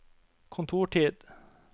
kontortid